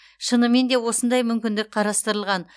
шынымен де осындай мүмкіндік қарастырылған